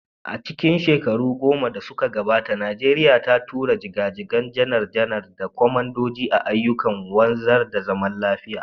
A cikin shekaru goma da suka gabata, Najeriya ta tura jiga-jigan janar-janar da kwamandoji a ayyukan wanzar da zaman lafiya.